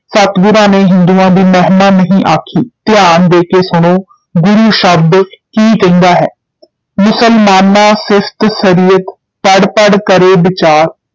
ਸਤਿਗੁਰਾਂ ਨੇ ਹਿੰਦੂਆਂ ਦੀ ਮਹਿਮਾ ਨਹੀਂ ਆਖੀ, ਧਿਆਨ ਦੇ ਕੇ ਸੁਣੋ ਗੁਰੂ ਸ਼ਬਦ ਕੀ ਕਹਿੰਦਾ ਹੈ ਮੁਸਲਮਾਨਾ ਸਿਫਤਿ ਸਰੀਅਤਿ ਪੜਿ ਪੜਿ ਕਰਹਿ ਬੀਚਾਰੁ,